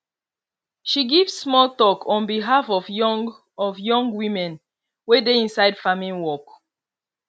she give small talk on behalf of young of young women wey dey inside farming work